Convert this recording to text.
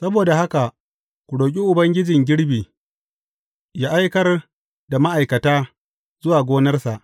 Saboda haka, ku roƙi Ubangijin girbi ya aikar da ma’aikata zuwa gonarsa.